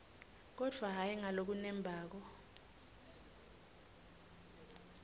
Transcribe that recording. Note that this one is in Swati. kodvwa hhayi ngalokunembako